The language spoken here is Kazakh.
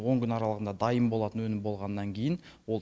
он күн аралығында дайын болатын өнім болғаннан кейін ол